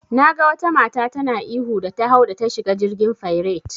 Naga wata mata tana ihu da ta hau da ta shiga jirgin fairet.